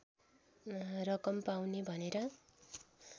रकम पाउने भनेर